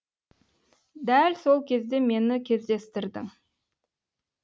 дәл сол кезде мені кездестірдің